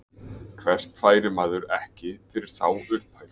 Hvert færi maður ekki fyrir þá upphæð.